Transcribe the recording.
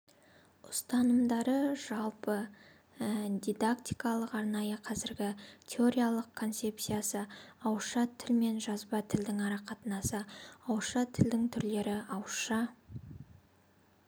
ұстанымдарыжалпы дидактикалық арнайы қазіргі теориялық концепциясы ауызша тіл мен жазба тілдің арақатынасы ауызша тілдің түрлері ауызша